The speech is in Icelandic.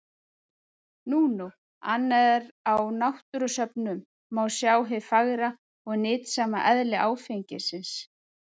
Nú nú, annað er að á náttúrusöfnum má sjá hið fagra og nytsama eðli áfengisins.